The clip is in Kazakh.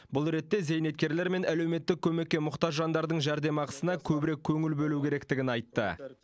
бұл ретте зейнеткерлер мен әлеуметтік көмекке мұқтаж жандардың жәрдемақысына көбірек көңіл бөлу керектігін айтты